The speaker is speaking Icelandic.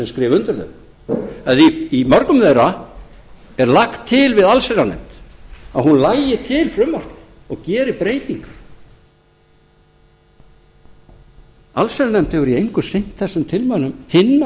skrifa undir þau en í mörgum þeirra er lagt til við allsherjarnefnd að hún lagi til frumvarpið og geri breytingar allsherjarnefnd hefur í engu sinnt þessum tilmælum sinna